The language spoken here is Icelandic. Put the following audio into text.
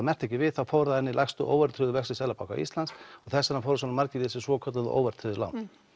merkti ekki við þá fór það inn í lægstu óverðtryggðu vexti Seðlabanka Íslands og þess vegna fóru svona margir í þessi svokölluðu óverðtryggðu lán